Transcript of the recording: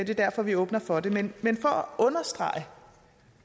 det er derfor vi åbner for det men for at understrege